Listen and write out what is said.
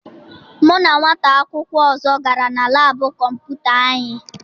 Mụ na nwata akwụkwọ ọzọ gara na laabụ kọmputa anyị.